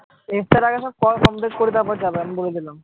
ইফতার এর আগে সব পড়া complete তারপর যাবে আমি বলে দিলাম